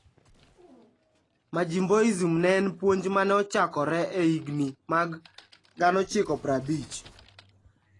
"Majimboism ne en puonj ma ne ochakore e higini mag 1950.